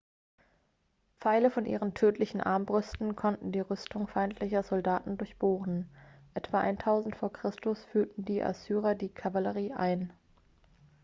pfeile von ihren tödlichen armbrüsten konnten die rüstung feindlicher soldaten durchbohren etwa 1000 v. chr. führten die assyrer die kavallerie ein